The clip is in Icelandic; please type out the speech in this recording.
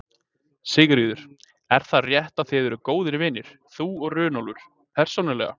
Sigríður: Er það rétt að þið eruð góðir vinir, þú og Runólfur, persónulega?